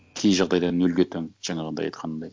кей жағдайда нөлге тең жаңағындай айтқанымдай